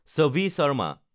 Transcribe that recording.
Chevy Sharma